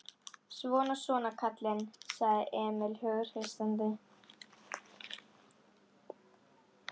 Svona, svona, kallinn, sagði Emil hughreystandi.